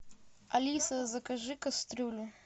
алиса закажи кастрюлю